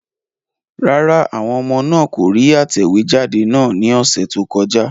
Rárá, àwọn ọmọ náà kò rí atẹ̀wéjáde náà ní ọ̀sẹ̀ tó kọjá.